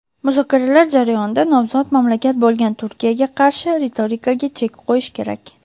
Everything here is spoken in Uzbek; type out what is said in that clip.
muzokaralar jarayonida nomzod mamlakat bo‘lgan Turkiyaga qarshi ritorikaga chek qo‘yish kerak.